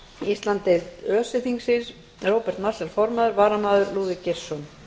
íslandsdeild öse þingsins róbert marshall formaður varamaður er lúðvík geirsson